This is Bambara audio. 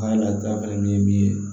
An ka laturuda fana min ye min ye